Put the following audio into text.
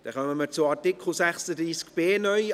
Wir kommen zu Artikel 36b (neu)